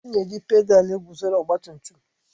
A na-eji pedalu guzoro ọgba tum tum